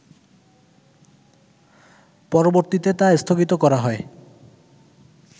পরবর্তীতে তা স্থগিত করা হয়